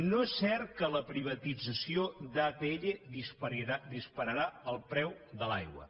no és cert que la privatització d’atll dispararà el preu de l’aigua